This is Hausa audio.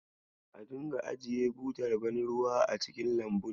A dinga ajiye butar ban ruwan a cikin lambun.